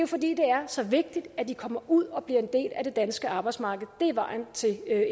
fordi det er så vigtigt at de kommer ud og bliver en del af det danske arbejdsmarked vejen til